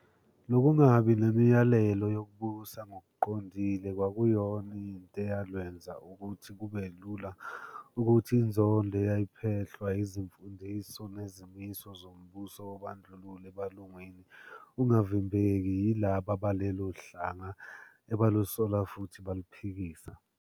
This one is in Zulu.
Lobungabi nemiyalelo okubusa ngobuqondile kwakuyona into eyalwenza ukuthi kubelula ukuthi inzondo eyiphehlwa izimfundiso nezimiso zombuso wobandlululo ebalungwini ungavimbeki yilaba balelohlanga ebalusola futhi baluphikisa.